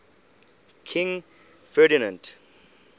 king ferdinand